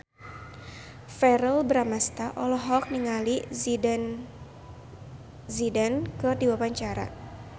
Verrell Bramastra olohok ningali Zidane Zidane keur diwawancara